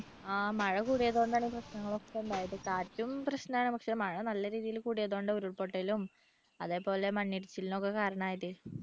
ആ മഴ കൂടിയതുകൊണ്ടാണ് ഈ പ്രശ്നങ്ങളൊക്കെ ഉണ്ടായത് കാറ്റും പ്രശ്നമാണ് പക്ഷേ മഴ നല്ല രീതിയിൽ കൂടിയതുകൊണ്ട് ഉരുൾപൊട്ടലും അതേപോലെ മണ്ണിടിച്ചിലിനും ഒക്കെ കാരണം ആയത്